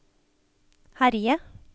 herje